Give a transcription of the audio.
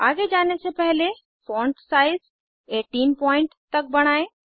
आगे जाने से पहले फॉन्ट साइज़ 18 पॉइन्ट तक बढ़ाएं